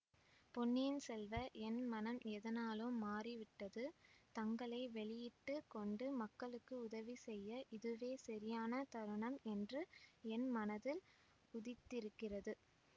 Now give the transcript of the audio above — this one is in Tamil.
பொன்னியின் செல்வ என் மனம் எதனாலோ மாறிவிட்டது தங்களை வெளியிட்டு கொண்டு மக்களுக்கு உதவி செய்ய இதுவே சரியான தருணம் என்று என் மனத்தில் உதித்திருக்கிறது